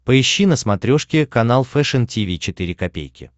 поищи на смотрешке канал фэшн ти ви четыре ка